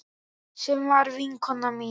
Sem var vinkona mín.